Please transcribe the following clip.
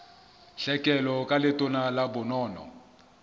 tlhekelo ka letona la bonono